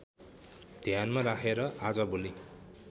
ध्यानमा राखेर आजभोलि